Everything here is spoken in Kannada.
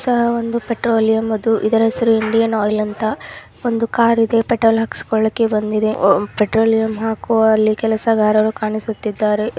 ಒಂದು ಪೆಟ್ರೋಲಿಯಂ ಅದು ಇದರ ಹೆಸರು ಇಂಡಿಯನ್ ಆಯಿಲ್ ಅಂತ ಒಂದು ಕಾರ್ ಇದೆ ಪೆಟ್ರೋಲ್ ಹಖ್ಸ್ಕೊಳ್ಳೋಕೆ ಬಂದಿದೆ ಅಹ್ ಪೆಟ್ರೋಲಿಯಂ ಹಾಕುವಲ್ಲಿ ಕೆಲಸಗಾರರು ಕಾಣಿಸುತ್ತಿದ್ದಾರೆ.